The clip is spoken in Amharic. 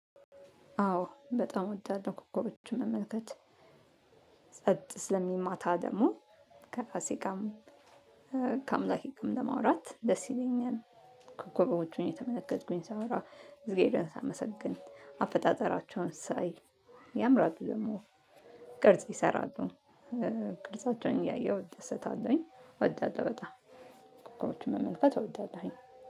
አዎ በጣም እወዳለው ኮከቦችን መመልከት ጸጥ ስለሚል ማታ ደግሞ ከራሴጋም ከአምላኬጋም ለማውራት ደስ ይለኛል። ኮከቦቹን እየተመለከትኩኝ ሳወራ እግዜርን ሳመሰግን አፈጣጠራቸውን ሳይ። ያምራሉ ደግሞ ቅርጽ ይሰራሉ። ቅርጻቸውን እያየሁ እደሰታለሁኝ እወዳለሁ በጣም ኮኮቦችን መመልከት አወዳለሁኝ።